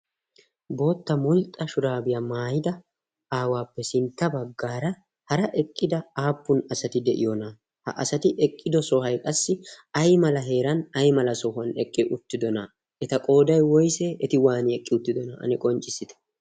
Bootta mulxxa shurabiyaa maayida aawappe sintta baggaara hara eqqida appun asati deiyona? Ha asay eqqido sohoy qassi aymala meran aymala sohuwan eqqi uttidona? Eta qooday woyse? Eti waani eqqi uttidona. Ane qonccissite?